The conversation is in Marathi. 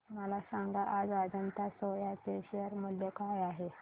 मला सांगा आज अजंता सोया चे शेअर मूल्य काय आहे